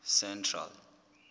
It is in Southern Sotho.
central